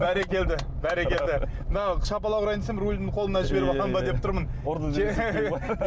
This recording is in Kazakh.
бәрекелді бәрекелді мына шапалақ ұрайын десем рулімді қолымнан жіберіп аламын ба деп тұрмын